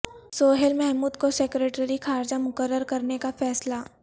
سہیل محمود کو سیکرٹری خارجہ مقرر کرنے کا فیصلہ